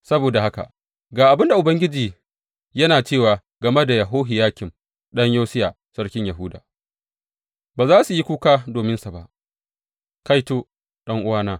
Saboda haka ga abin da Ubangiji yana cewa game da Yehohiyakim ɗan Yosiya sarkin Yahuda, Ba za su yi kuka dominsa ba, Kaito, ɗan’uwana!